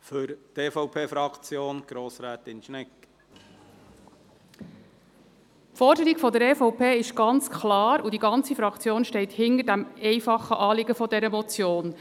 Die Forderung der EVP ist ganz klar, und die ganze Fraktion steht hinter dem einfachen Anliegen dieser Motion: